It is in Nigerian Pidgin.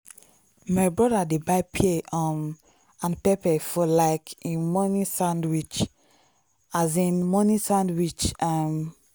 my brother dey buy pear um and pepper for um him morning sandwich. um morning sandwich. um